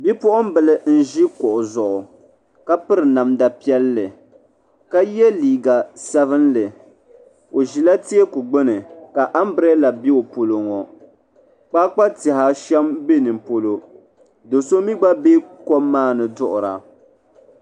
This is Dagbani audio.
Bipuɣinbili nʒi kuɣu zuɣu ka piri namda piɛli kaye liiga sabinli ɔʒila teeku gbuni. ambrela be ɔpolɔŋɔ. kpakpa tihi saham, n be ninipolɔ doso mi gba be kom maani duɣira